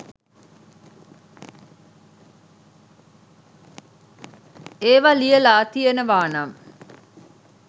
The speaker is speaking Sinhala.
ඒවා ලියලා තියෙනවනම්